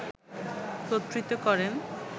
কর্তৃত্ব করেন